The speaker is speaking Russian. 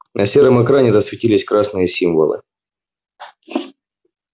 на сером экране засветились красные символы